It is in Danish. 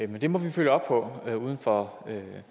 men det må vi følge op på uden for